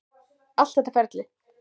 Allt þetta ferli.